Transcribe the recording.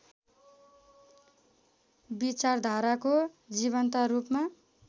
विचारधाराको जीवन्त रूपमा